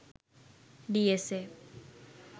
dsa